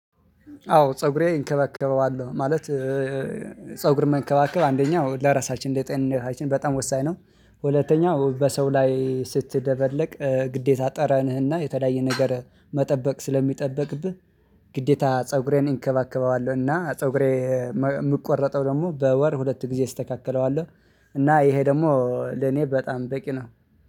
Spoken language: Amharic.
አዎ ፀጉሬ እንከባከበዋለሁ ማለት ፀጉር መንከባከብ አንደኛው ለራሳችን ለጤናችን በጣም ወሳኝ ነው። ሁለተኛ በሰው ላይ ስትደበለቅ ግዴታ ጠራንህና የተለያየ ነገር መጠበቅ ስለሚጠበቅብህ። ግዴታ ፀጉሬን እንከባከባዋለሁ እና ፀጉሬ የምቆረጠው ደግሞ በወር ሁለት ጊዜ እስተካከለዋለሁ። እና ይሄ ደግሞ ለኔ በጣም በቂ ነው